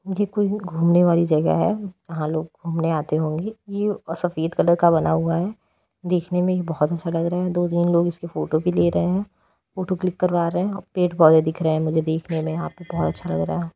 ये कोई घूमने वाली जगह है वहां लोग घूमने आते होंगे यह सफेद कलर का बना हुआ है देखने में ये बहुत अच्छा लग रहा है दो तीन लोग इसके फोटो भी ले रहे हैं फोटो क्लिक करवा रहे हैं पड़े पौधे दिख रहे है मुझे देखनें में यहाँ पे बहोत अच्छा लग रहा है।